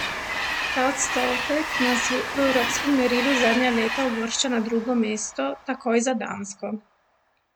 Ta odstotek nas v evropskem merilu zadnja leta uvršča na drugo mesto, takoj za Dansko.